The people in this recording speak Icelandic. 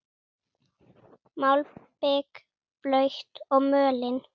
Malbik blautt og mölin.